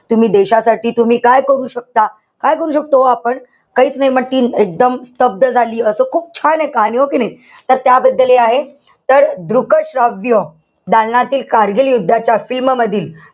तुम्ही देशासाठी तुम्ही काय करू शकता? काय करू शकतो हो आपण? काईच नाई. म ती एकदम स्तब्ध झाली. असं खूप छान आहे कहाणी. हो कि नाई? तर त्याबद्दल हे आहे. तर दृक श्राव्य दालनातील कारगिल युद्धाच्या film मधील,